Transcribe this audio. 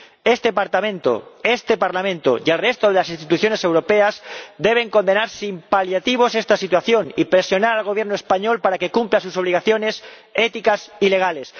Este Parlamento y el resto de las instituciones europeas deben condenar sin paliativos esta situación y presionar al Gobierno español para que cumpla sus obligaciones éticas y legales.